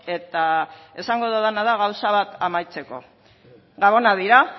eta esango dudana da gauza bat amaitzeko gabonak dira